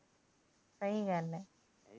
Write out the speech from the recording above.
ਸਹੀ ਗੱਲ ਏ